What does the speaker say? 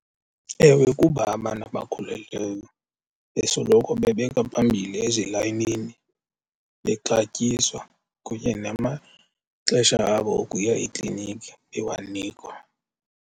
Ewe, kuba abantu abakhulelweyo besoloko bebekwa phambili ezilayinini, bexatyiswa kunye namaxesha abo okuya ekliniki bewanikwa.